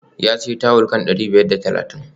Ya sayi tawul kan dari biyar da talatin